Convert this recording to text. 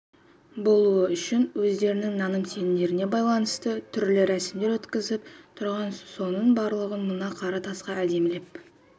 болуы үшін өздерінің наным-сенімдеріне байланысты түрлі рәсімдер өткізіп тұрған соның барлығын мына қара тасқа әдемілеп